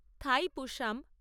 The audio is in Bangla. থাইপুশাম